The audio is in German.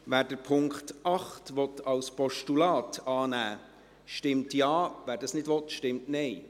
Wer den Punkt 8 als Postulat annehmen will, stimmt Ja, wer dies nicht will, stimmt Nein.